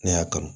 Ne y'a kanu